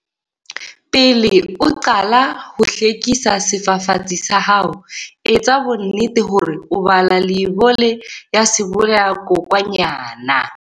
Pele o qala ho hlwekisa sefafatsi sa hao, etsa bonnete hore o bala leibole ya sebolayakokwanyana.